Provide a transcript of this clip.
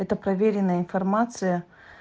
это проверенная информация